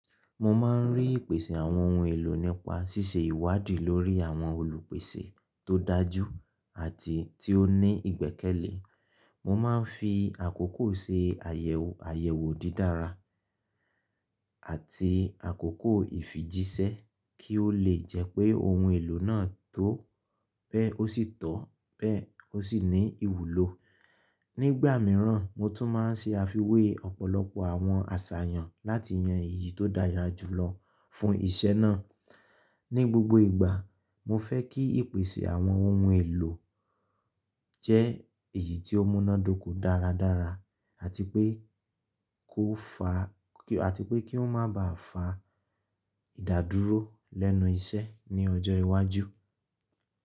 Mo máa ń rí ìpèsè àwọn ohun èlò nípa ṣíṣe ìwádìí lórí àwọn olùpèsè tó dájú àti tí ó ní ìgbẹ́kẹ̀lé. Mo máa ń fi àkókò ṣe ayew àyẹ̀wò dídára àti àkókò ìfijíṣẹ́ kí ó lè jẹ́ pé ohun èlò náà tó pé ó sì tọ́ pé ó sì ní ìwúlò. Nígbà mìíràn, mo tún máa ń ṣe àfiwé ọ̀pọ̀lọpọ̀ àwọn àṣàyàn láti yan èyí tó dára jù lọ fún iṣẹ́ náà. Ni gbogbo ìgbà, mo fẹ́ kí ìpèsè àwọn ohun èlò jẹ́ èyí tí ó múná dóko dáradára àti pé kó fá ki, àti pé kí ó má ba à fá ìdádúró lẹ́nu iṣẹ́ ní ọjọ́ iwájú.